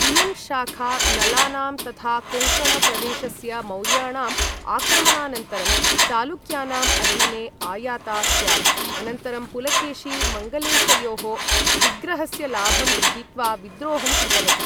इयं शाखा नलानां तथा कोङ्कण प्रदेशस्य मौर्याणाम् आक्रमणानन्तरं, चालुक्यानाम् अधीने आयाता स्यात्, अनन्तरं पुलकेशि मङ्गलेशयोः विग्रहस्य लाभं गृहीत्वा विद्रोहं कृतवती।